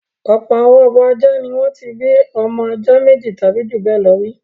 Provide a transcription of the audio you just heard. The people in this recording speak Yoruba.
Ọ̀pọ̀ àwọn abo ajá ni wọ́n ti bí ọmọ ajá méjì tàbí ju bẹ́ẹ̀ lọ rí.